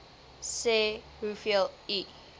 sê hoeveel u